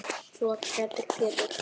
Þú ert hræddur Pétur.